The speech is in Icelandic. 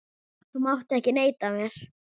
Þú mátt ekki neita mér.